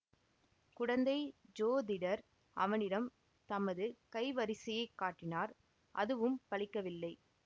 குடந்தை ஜோதிடர் அவனிடம் தமது கைவரிசையைக் காட்டினார் அதுவும் பலிக்கவில்லை